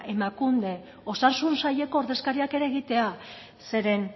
emakunde osasun saileko ordezkariak ere egitea